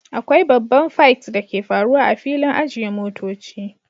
Akwai babban figth da ke faruwa a filin ajiye motoci